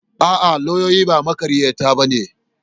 A'a, lauyoyi ba maƙaryata ba ne.